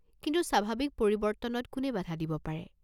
কিন্তু স্বাভাৱিক পৰিবৰ্ত্তনত কোনে বাধা দিব পাৰে?